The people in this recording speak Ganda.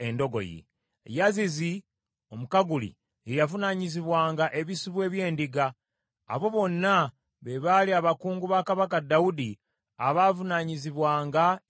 Yazizi Omukaguli ye yavunaanyizibwanga ebisibo eby’endiga. Abo bonna be baali abakungu ba kabaka Dawudi abaavunaanyizibwanga ebintu bye.